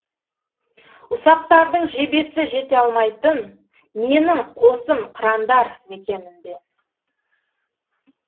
ұсақтардың жебесі жете алмайтын менің қосым қырандар мекенінде